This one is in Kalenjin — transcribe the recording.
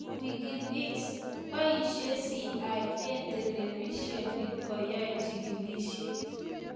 Wikileaks: boishe CIA telebisyenit koyai chikilisyet